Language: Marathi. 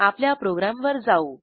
आपल्या प्रोग्रॅमवर जाऊ